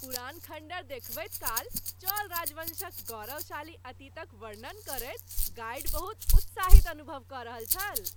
पुरान खंडहर देखबैत काल, चोल राजवंशक गौरवशाली अतीतक वर्णन करैत गाइड बहुत उत्साहित अनुभव कऽ रहल छल।